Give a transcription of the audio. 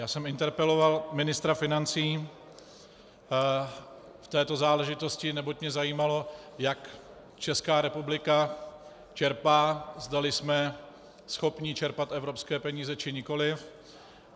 Já jsem interpeloval ministra financí v této záležitosti, neboť mě zajímalo, jak Česká republika čerpá, zdali jsme schopni čerpat evropské peníze, či nikoliv.